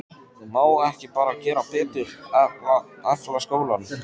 Má ekki bara gera betur, efla skólann?